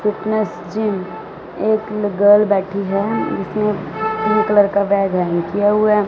एक गर्ल बैठी है जिसने पिंक कलर का बैग किया हुआ है।